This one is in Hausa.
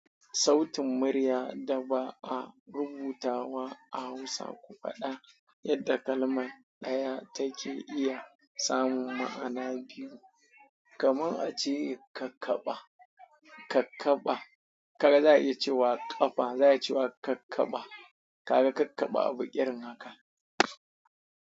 Sautin murya da ba a rubutawa a Hausa ku faɗa yadda kalma ɗaya take iya samun ma'ana biyu. Kamar a ce kakkaɓa. Kakkaɓa. Kaga za a iya cewa ƙafa, za a iya cewa kakkaɓa. Kaga kakkaɓa abu irin haka.